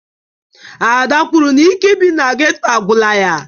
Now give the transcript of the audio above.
Ada kwuru na ike ị bi n'geto agwụla ya